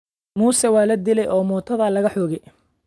Muuse waa la dilaay oo mootada laga xoge